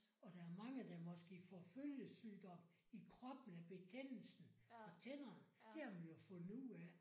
Og der er mange der måske får følgesygdom i kroppen af betændelsen fra tænderne der har man jo fundet ud af